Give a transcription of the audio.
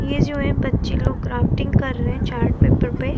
ये जो है बच्चे लोग है ग्राफ्टिंग कर रहे हैं चार्ट पेपर पे।